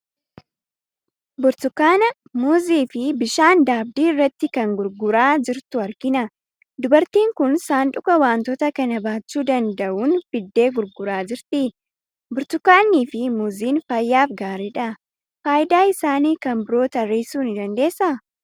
Burtukaana, muuzii fi bishaan daabdii irratti kan gurguraa jirtu argina. Dubartiin kun sanduuqa wantoota kana baachuu danda'uun fiddee gurguraa jirti. Burtukaannii fi muuziin fayyaaf gaariidha. Faayidaa isaanii kan biroo tarreessuu ni dandeessaa?